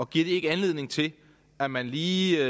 giver det ikke anledning til at man lige